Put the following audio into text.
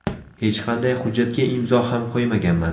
Hech qanday hujjatga imzo ham qo‘ymaganman.